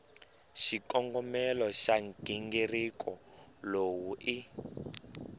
xikongomelo xa nghingiriko lowu i